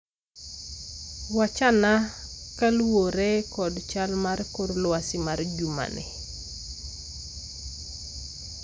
Wachana kaluwore kod chal mar kor lwasi ma jumani